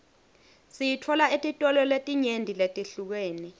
siyitfola etitolo letinyenti letihlukene